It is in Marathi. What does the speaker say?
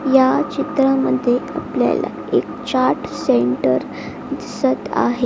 या चित्रामध्ये आपल्याला एक चाट सेंटर दिसत आहे.